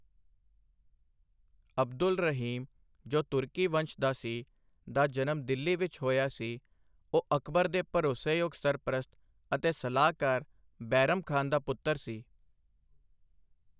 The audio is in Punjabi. ਅਬਦੁਲ ਰਹੀਮ ਜੋ ਤੁਰਕੀ ਵੰਸ਼ ਦਾ ਸੀ, ਦਾ ਜਨਮ ਦਿੱਲੀ ਵਿੱਚ ਹੋਇਆ ਸੀ, ਉਹ ਅਕਬਰ ਦੇ ਭਰੋਸੇਯੋਗ ਸਰਪ੍ਰਸਤ ਅਤੇ ਸਲਾਹਕਾਰ ਬੈਰਮ ਖਾਨ ਦਾ ਪੁੱਤਰ ਸੀ,।